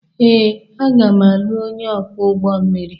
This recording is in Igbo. Ee, aga m alụ onye ọkwọ ụgbọ mmiri.